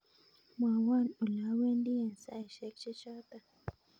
Mwowon ola wendi en saishek che choton